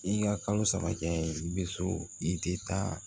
I ka kalo saba kɛ i bɛ so i tɛ taa